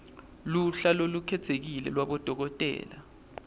luhla lolukhetsekile lwabodokotela